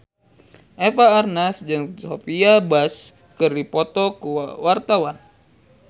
Eva Arnaz jeung Sophia Bush keur dipoto ku wartawan